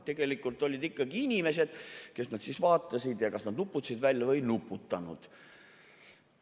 Tegelikult olid ikkagi inimesed, kes vaatasid, ja nad kas nuputasid välja või ei nuputanud.